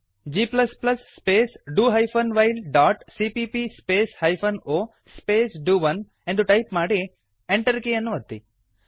g space do hyphen while dot CPP space hyphen o space do one ಎಂದು type ಮಾಡಿ Enter ಕೀಯನ್ನು ಒತ್ತಿ